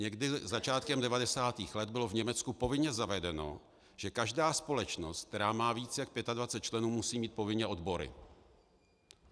Někdy začátkem 90. let bylo v Německu povinně zavedeno, že každá společnost, která má více jak 25 členů, musí mít povinně odbory.